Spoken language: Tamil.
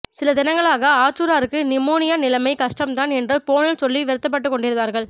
சில தினங்களாக ஆற்றூராருக்கு நிமோனியா நிலைமை கஷ்டம்தான் என்று போனில் சொல்லி வருத்தப்பட்டுக்கொண்டிருந்தார்கள்